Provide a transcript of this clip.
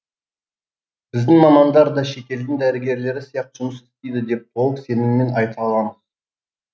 біздің мамандар да шетелдің дәрігерлері сияқты жұмыс істейді деп толық сеніммен айта аламыз